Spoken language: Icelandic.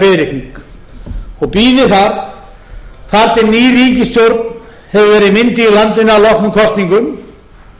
þar þar til ný ríkisstjórn hefur verið mynduð í landinu að loknum kosningum